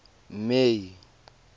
may